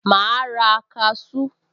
Màá ra kaṣú